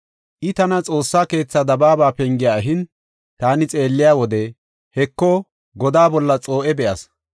I tana Xoossaa keetha dabaaba penge ehin, taani xeelliya wode, Heko, godaa bolla xoo7e be7as.